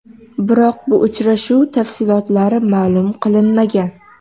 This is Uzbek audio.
Biroq bu uchrashuv tafsilotlari ma’lum qilinmagan.